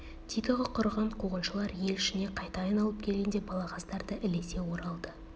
титығы құрыған қуғыншылар ел ішіне қайта айналып келгенде балағаздар да ілесе оралды